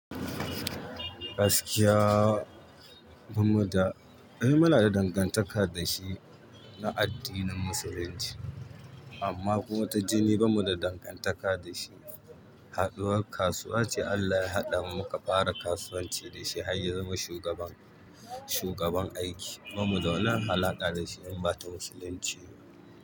Gaskiya ba mu da, eh muna da dangantaka da shi na addinin Musulunci amma kuma ta jini banni da dangantaka da shi. Haɗuwar kasuwa ce Allah ya haɗa muka fara kasuwanci da shi har ya zama shugaban, shugaban aiki. Ba mu da wani alaƙa da shi in ba ta Musulunci.